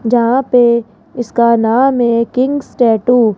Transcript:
जहां पे उसका नाम है किंग्स टैटू --